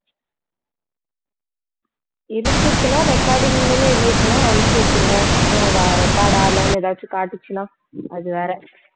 இருந்துச்சுன்னா recording ன்னு இருந்துச்சுன்னா அமுக்கி விட்டுருங்க அப்புறம் அது record ஆகலைன்னு எதாச்சும் காட்டுச்சுன்னா அது வேற